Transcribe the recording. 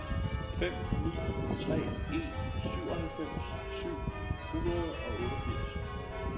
fem ni tre en syvoghalvfems syv hundrede og otteogfirs